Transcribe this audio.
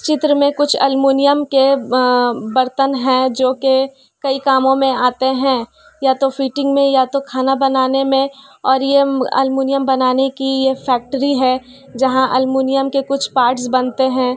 चित्र में कुछ अलुमुनियम के अ बर्तन हैं जोकि कई कामों में आते हैं या तो फिटिंग में या तो खाना बनाने में और ये अलुमुनियम बनाने की ये फैक्ट्री है जहाँ अलुमुनियम के कुछ पार्ट्स बनतें हैं।